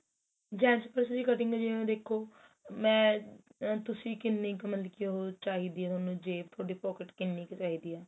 gents purse ਦੀ cutting ਜਿਵੇਂ ਦੇਖੋ ਮੈਂ ਆ ਤੁਸੀਂ ਕਿੰਨੀ ਕ ਮਤਲਬ ਕੀ ਉਹ ਚਾਹੀਦੀ ਏ ਤੁਹਾਨੂੰ ਜੇਬ ਤੁਹਾਡੀ pocket ਕਿੰਨੀ ਕ ਚਾਹੀਦੀ ਏ